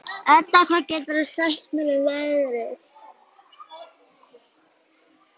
Edda, hvað geturðu sagt mér um veðrið?